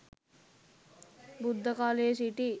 බුද්ධකාලයේ සිටි